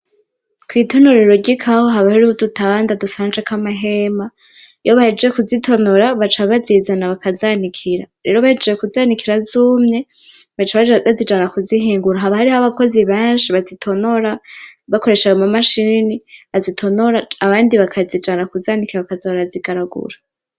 Kw'itonorero ry' ikawa haba hariho udutanda dusanjeko amahema, iyo bahejeje kuzitonora baca bazizana bakazanikira, rero bahejeje kuzanikira zumye, baca bazijana kuzihingura haba harih'abakozi benshi bazitonora bakoresha ama mashini azitonora abandi bakazijana kuzanikira bakaza barazigaragura.